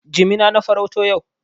Jimina na farauto yau.